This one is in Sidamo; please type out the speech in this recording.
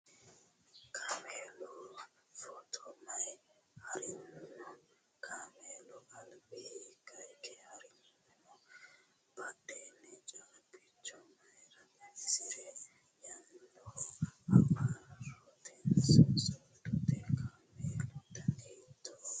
Kaamela foto mayi haarino? Kaamelu alba hiikka hige harayi no? Badhiidi caabbicho mayiira xawisirino? Yannano hawarrotenso soodote? Kaamelu danino hiittoho?